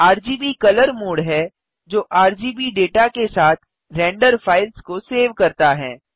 RGB colour mode है जो RGB data के साथ रेंडर फ़ाइल्स को सेव करता है